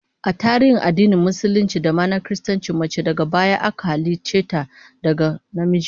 A tarihin addinin Musulunci da ma na Kiristanci, mace daga baya aka halicce ta daga namiji